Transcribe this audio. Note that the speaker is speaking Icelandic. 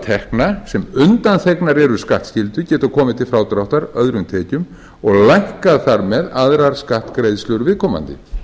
tekna sem undanþegnar eru skattskyldu geta komið til frádráttar öðrum tekjum og lækkað þar með aðrar skattgreiðslur viðkomandi